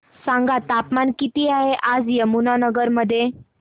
सांगा तापमान किती आहे आज यमुनानगर मध्ये